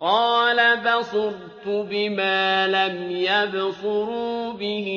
قَالَ بَصُرْتُ بِمَا لَمْ يَبْصُرُوا بِهِ